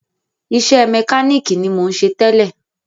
Iṣẹ́ mẹkánìkì ni mò ń ṣe tẹ́lẹ̀.